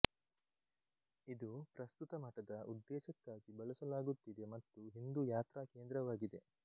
ಇದು ಪ್ರಸ್ತುತ ಮಠದ ಉದ್ದೇಶಕ್ಕಾಗಿ ಬಳಸಲಾಗುತ್ತಿದೆ ಮತ್ತು ಹಿಂದೂ ಯಾತ್ರಾ ಕೇಂದ್ರವಾಗಿದೆ